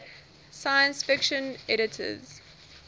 science fiction editors